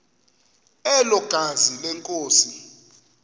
elo gazi lenkosi